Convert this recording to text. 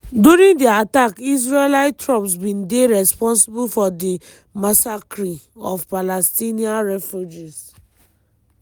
during di attack israeli troops bin dey responsible for di massacre of palestinian refugees.